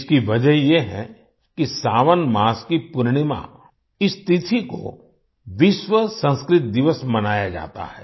इसकी वजह यह है कि सावन मास की पूर्णिमा इस तिथि को विश्व संस्कृत दिवस मनाया जाता है